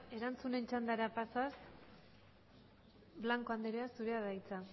erantzunen txandara pasaz blanco andrea zurea da hitza